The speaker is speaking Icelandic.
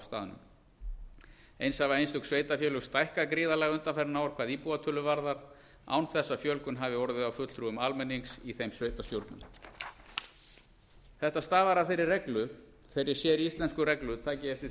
staðnum eins hafa einstök sveitarfélög stækkað gríðarlega undanfarin ár hvað íbúatölu varðar þess að fjölgun hafi orðið á fulltrúum almennings í þeim sveitarstjórnum þetta stafar af þeirri séríslensku reglu takið eftir